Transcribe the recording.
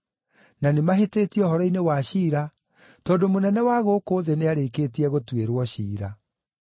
na nĩmahĩtĩtie ũhoro-inĩ wa ciira tondũ mũnene wa gũkũ thĩ nĩarĩkĩtie gũtuĩrwo ciira.